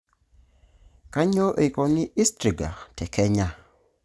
Kainyioo eikoni istriga te Kenya.